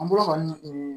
An bolo kɔni